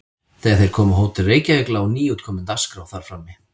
Þegar þeir komu á Hótel Reykjavík lá nýútkomin Dagskrá þar frammi.